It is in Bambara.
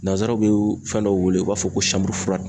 Nanzaraw bɛ fɛn dɔw wele u b'a fɔ ko